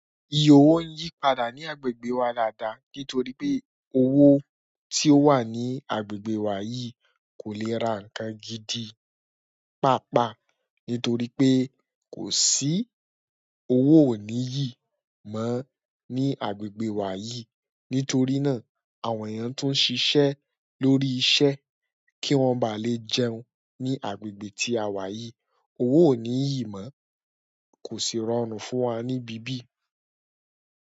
Iye owó ń yípadà ní agbègbè wa dáàdàá nítorí pé owó tí ó wà ní agbègbè wa yìí kò lè ra nǹkan gidi, pàápàá nítorí pé kò sí owó òní ìyí mọ́ ní agbègbè wa yìí. Nítorí náà, àwọn èèyàn tùn ń ṣiṣẹ́ lórí iṣẹ́ kí wọ́n ba lè jẹun ní agbègbè tí a wà yìí, owó òní ìyí mọ́ kò sì rọrùn fún wa níbí bí.